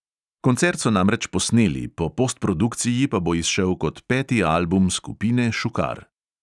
Koncert so namreč posneli, po postprodukciji pa bo izšel kot peti album skupine šukar.